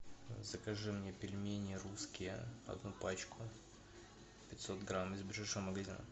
закажи мне пельмени русские одну пачку пятьсот грамм из ближайшего магазина